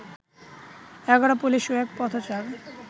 ১১ police ও এক পথচার